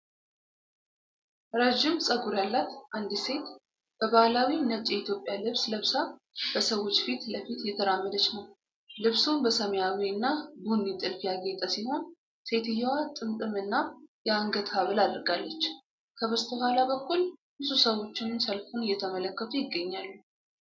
ረዥም ጸጉር ያላት አንዲት ሴት በባሕላዊ ነጭ የኢትዮጵያ ልብስ ለብሳ በሰዎች ፊት ለፊት እየተራመደች ነው። ልብሱ በሰማያዊ እና ቡኒ ጥልፍ ያጌጠ ሲሆን፣ ሴትየዋ ጥምጥም እና የአንገት ሐብል አድርጋለች። ከበስተኋላ በኩል ብዙ ሰዎች ሰልፉን እየተመለከቱ ይገኛሉ።